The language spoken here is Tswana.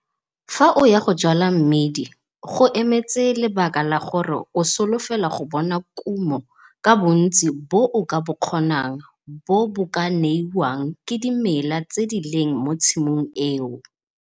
Fa o ya go jwala mmidi, go emetse lebaka la gore o solofela go bona kumo ka bontsi bo o ka bo kgonang bo bo ka neiwang ke dimela tse di leng mo tshimong eo.